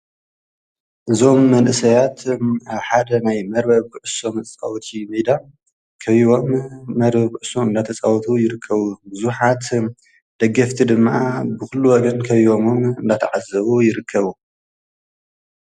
ዞም መንእሰያት ሓደ ናይ መርበ ብዕሶም ጻውቲ ሜዳ ከይቦም መር ብዕሱም ናተጻውቱ ይርከቡ ብዙኃት ደገፍቲ ድመኣ ብዂሉ ወገን ከይዮምም ናታዓዘቡ ይርከቡ።